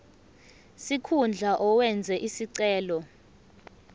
sikhundla owenze isicelo